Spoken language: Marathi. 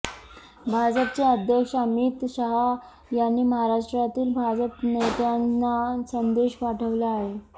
भाजपचे अध्यक्ष अमित शहा यांनी महाराष्ट्रातील भाजप नेत्यांना संदेश पाठवला आहे